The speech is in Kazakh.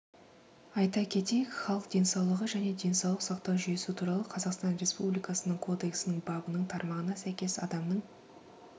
айта кетейік халық денсаулығы және денсаулық сақтау жүйесі туралы қазақстан республикасының кодексінің бабының тармағына сәйкес адамның